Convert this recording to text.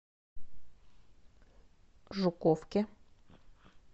жуковке